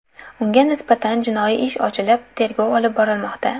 Unga nisbatan jinoiy ish ochilib, tergov olib borilmoqda.